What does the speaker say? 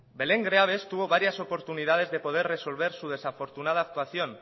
belén greaves tuvo varias oportunidades de poder resolver su desafortunada actuación